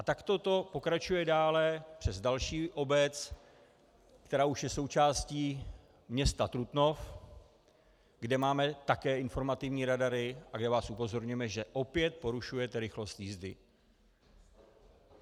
A takto to pokračuje dále přes další obec, která už je součástí města Trutnov, kde máme také informativní radary a kde vás upozorňujeme, že opět porušujete rychlost jízdy.